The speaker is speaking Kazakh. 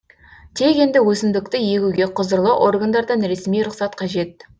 тек енді өсімдікті егуге құзырлы органдардан ресми рұқсат қажет